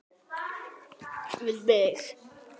Við mig.